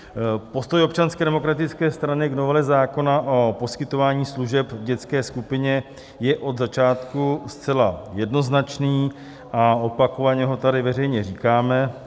Postoj Občanské demokratické strany k novele zákona o poskytování služeb v dětské skupině je od začátku zcela jednoznačný a opakovaně ho tady veřejně říkáme.